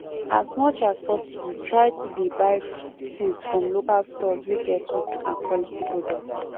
as much as possible try to dey buy things from local stores wey get good and quality products